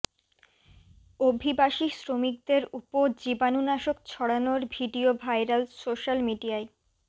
অভিবাসী শ্রমিকদের উপ জীবানুনাশক ছড়ানোর ভিডিও ভাইরাল সোশ্যাল মিডিয়ায়